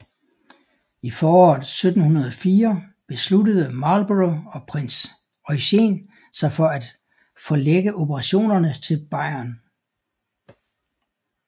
I foråret 1704 besluttede Marlborough og prins Eugen sig til at forlægge operationerne til Bayern